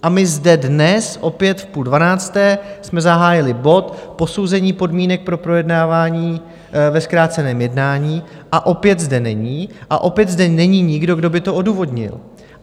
A my zde dnes opět v půl dvanácté jsme zahájili bod Posouzení podmínek pro projednávání ve zkráceném jednání - a opět zde není a opět zde není nikdo, kdo by to odůvodnil.